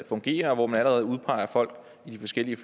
fungerer og hvor man allerede udpeger folk i de forskellige